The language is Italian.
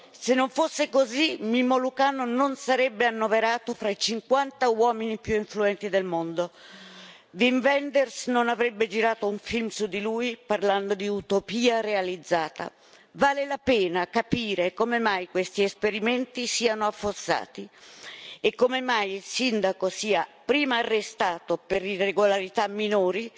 Se non fosse così Mimmo Lucano non sarebbe annoverato tra i cinquanta uomini più influenti del mondo, Wim Wenders non avrebbe girato un film su di lui parlando di utopia realizzata. Vale la pena capire come mai questi esperimenti siano affossati e come mai il sindaco sia prima arrestato per irregolarità minori,